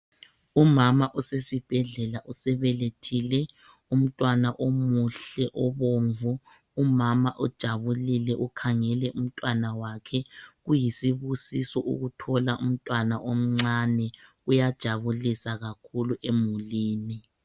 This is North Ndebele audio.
Umama osesibhedlela usebelethile umntwana omuhle obomvu, umama ujabilile ukhangele imntwana wakhe, kuyisibusiso ukuthola umntwana omncane kuyajabulisa kakhulu emulini.